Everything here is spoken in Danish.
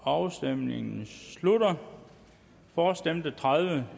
afstemningen slutter for stemte tredive